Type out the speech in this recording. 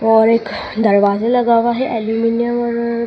और एक दरवाजा लगा हुआ है अल्युमिनियम और--